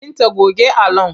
Binta goge allon!